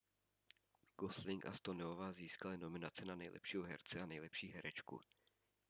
gosling a stoneová získali nominace na nejlepšího herce a nejlepší herečku